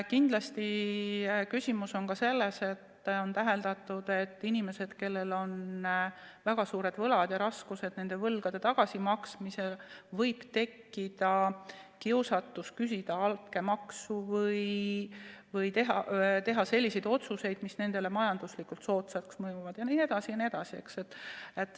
Kindlasti on küsimus ka selles, et on täheldatud, et inimestel, kellel on väga suured võlad ja esineb raskusi võlgade tagasimaksmisel, võib tekkida kiusatus küsida altkäemaksu või teha selliseid otsuseid, mis nendele majanduslikult soodsalt mõjuvad.